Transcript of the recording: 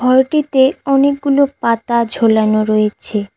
ঘরটিতে অনেকগুলো পাতা ঝোলানো রয়েছে।